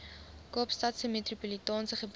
kaapstadse metropolitaanse gebied